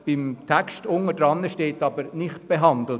Unter dem Text steht jedoch «nicht behandelt».